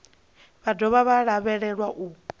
vha dovha vha lavhelelwa u